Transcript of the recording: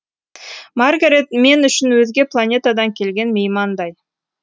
маргарет мен үшін өзге планетадан келген меймандай